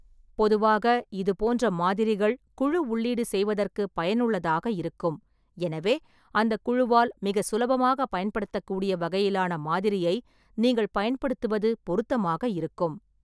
பொதுவாக, இது போன்ற மாதிரிகள் குழு உள்ளீடு செய்வதற்குப் பயனுள்ளதாக இருக்கும், எனவே அந்தக் குழுவால் மிகச் சுலபமாகப் பயன்படுத்தக்கூடிய வகையிலான மாதிரியை நீங்கள் பயன்படுத்துவது பொருத்தமாக இருக்கும்.